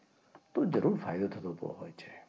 તો જરૂર ફાયદો થતો હોય છે.